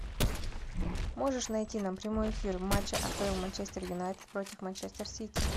можешь найти нам прямой эфир матча апл манчестер юнайтед против манчестер сити